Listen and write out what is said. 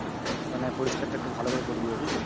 মানে পরিষ্কার টা একটু ভালোকরে করে দিও বুঝলে।